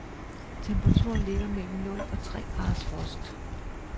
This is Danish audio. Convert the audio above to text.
Temperaturen ligger mellem nul og tre graders frost.